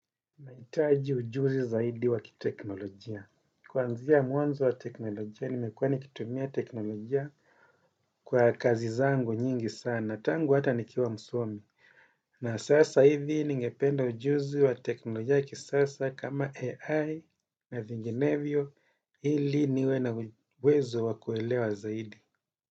Nahitaji ujuzi zaidi wa kiteknolojia. Kuanzia mwanzo wa teknolojia nimekuwa nikitumia teknolojia kwa kazi zangu nyingi sana. Tangu hata nikiwa msomi. Na sasa hivi ningependa ujuzi wa teknolojia ya kisasa kama AI na zinginevyo ili niwe na uwezo wa kuelewa zaidi.